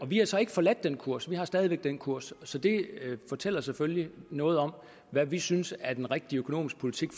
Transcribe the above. vi har så ikke forladt den kurs vi har stadig væk den kurs så det fortæller selvfølgelig noget om hvad vi synes er den rigtige økonomiske politik